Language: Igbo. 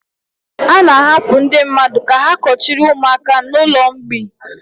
A na-ahapụ ndị mmadụ ka ha kuchiri ụmụaka n'ụlọ mgbei.